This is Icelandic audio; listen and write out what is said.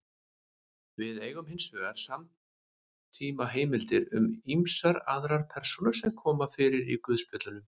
Við eigum hins vegar samtímaheimildir um ýmsar aðrar persónur sem koma fyrir í guðspjöllunum.